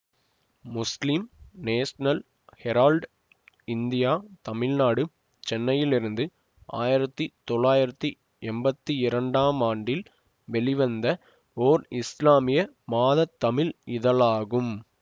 முஸ்லிம் national Herald India Tamil Nadu சென்னையிலிருந்து ஆயிரத்தி தொள்ளாயிரத்தி எம்பத்தி இரண்டாம் ஆண்டில் வெளிவந்த ஓர் இசுலாமிய மாத தமிழ் இதழாகும்